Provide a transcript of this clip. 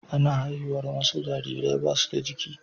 Ana haihuwar wasu jarirai ba su da giki.